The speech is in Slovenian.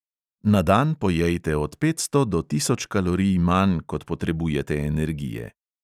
Na dan pojejte od petsto do tisoč kalorij manj, kot potrebujete energije.